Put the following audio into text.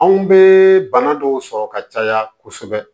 Anw bɛ bana dɔw sɔrɔ ka caya kosɛbɛ